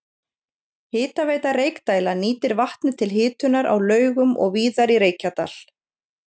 Hitaveita Reykdæla nýtir vatnið til hitunar á Laugum og víðar í Reykjadal.